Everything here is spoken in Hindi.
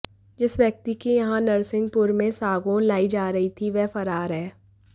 जिस व्यक्ति के यहां नरसिंहपुर में सागौन लाई जा रही थी वह फरार है